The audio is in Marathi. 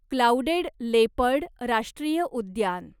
क्लाऊडेड लेपर्ड राष्ट्रीय उद्यान